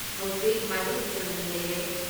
ꯍꯧꯖꯤꯛ ꯃꯥꯏꯕꯝ ꯗꯤꯖꯃꯅꯤ ꯂꯩꯔꯦ